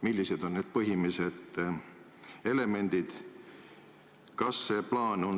Millised on need põhilised elemendid?